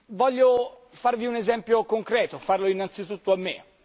Voglio farvi un esempio concreto, farlo innanzitutto a me.